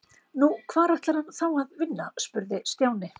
Nú, hvar ætlar hann þá að vinna? spurði Stjáni.